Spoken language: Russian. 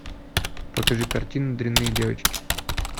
покажи картину дрянные девочки